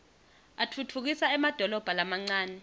atfutfukisa emadolobha lamancane